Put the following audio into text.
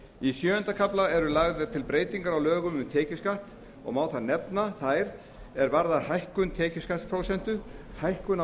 í sjöunda kafla eru lagðar til breytingar á lögum um tekjuskatt og má þar af nefna þær sem varða hækkun tekjuskattsprósentu hækkun á